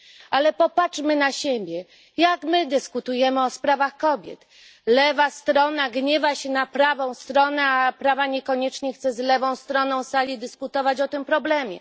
Ale popatrzmy na siebie jak my dyskutujemy o sprawach kobiet? Lewa strona gniewa się na prawą stronę, a prawa niekoniecznie chce z lewą stroną sali dyskutować o tym problemie.